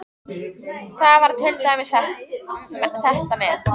Það var til dæmis þetta með